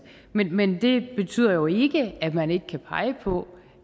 men men det betyder jo ikke at man ikke kan pege på